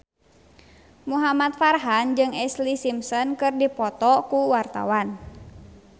Muhamad Farhan jeung Ashlee Simpson keur dipoto ku wartawan